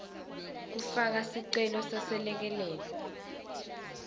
kufaka sicelo seselekelelo